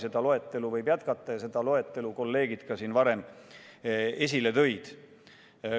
Seda loetelu võib jätkata ja selle loetelu kolleegid siin juba esile tõidki.